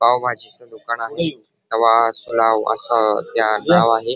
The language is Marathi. पावभाजीच दुकान आहे अस त्या नाव आहे.